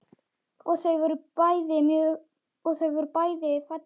Og þau voru bæði falleg.